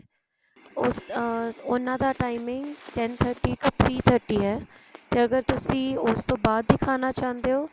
ਉਹਨਾਂ ਦਾ timing ten thirty to three thirty ਹੈ ਤੇ ਅਗਰ ਤੁਸੀਂ ਉਸ ਤੋਂ ਬਾਅਦ ਦਿਖਾਉਣਾ ਚਾਹੁੰਦੇ ਹੋ